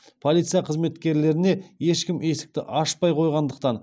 полиция қызметкерлеріне ешкім есікті ашпай қойғандықтан